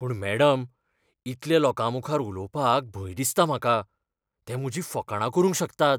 पूण मॅडम, इतल्या लोकां मुखार उलोवपाक भंय दिसता म्हाका. ते म्हजी फकाणां करूंक शकतात.